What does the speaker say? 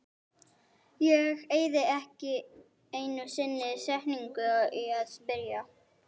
Ég eyði ekki einu sinni setningu í að spyrja